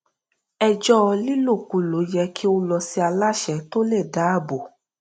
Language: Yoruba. ẹjọ lílòkulò yẹ kí ó lọ sí aláṣẹ tó le dáàbò